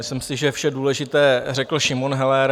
Myslím si, že vše důležité řekl Šimon Heller.